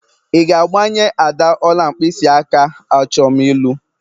Ị ga-agbanye Ada ọla mkpịsịaka achọm ịlụ!